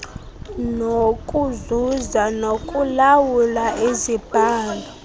nokuzuza nokulawula izibhalo